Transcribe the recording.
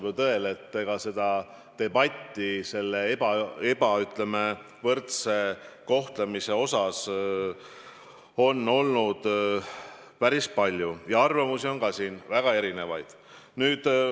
Vastab tõele, et debatti selle, ütleme, ebavõrdse kohtlemise üle on olnud päris palju ja arvamusi on väga erinevaid.